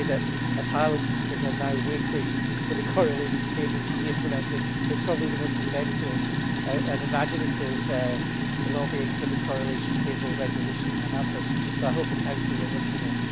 To say that asylum seekers are now waiting for the correlation tables to be implemented is probably the most inventive and imaginative lobbying for the correlation table resolution to happen, so I hope Council was listening.